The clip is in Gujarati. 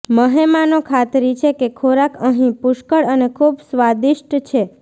મહેમાનો ખાતરી છે કે ખોરાક અહીં પુષ્કળ અને ખૂબ સ્વાદિષ્ટ છે